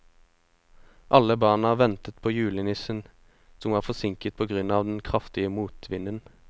Alle barna ventet på julenissen, som var forsinket på grunn av den kraftige motvinden.